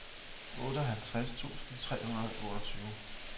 otteoghalvtreds tusind tre hundrede og otteogtyve